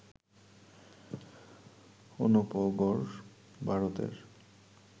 অনুপগড়, ভারতের